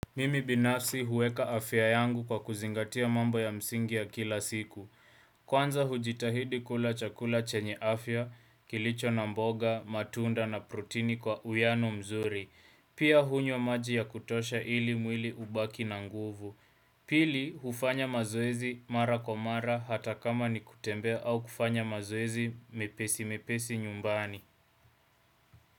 Mimi binafsi huweka afya yangu kwa kuzingatia mambo ya msingi ya kila siku Kwanza hujitahidi kula chakula chenye afya, kilicho na mboga, matunda na prutini kwa uyano mzuri Pia hunywa maji ya kutosha ili mwili ubaki na nguvu Pili hufanya mazoezi mara kwa mara hata kama ni kutembe au kufanya mazoezi mepesi mepesi nyumbani.